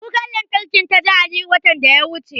Kukar lantarkin ta ja Aliyu, watan da ya wuce.